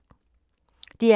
DR K